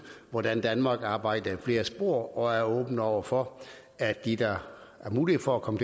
hvordan danmark arbejder i flere spor og er åben over for at de der har mulighed for at komme